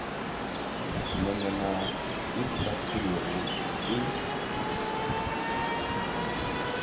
nonyana e sa selego e